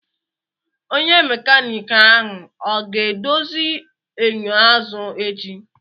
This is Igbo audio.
Onye mekaniki ahụ ọ ga-edozi enyo azụ echi?